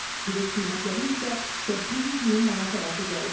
Bilet qiymətləri isə 800-1000 manat arası dəyişir.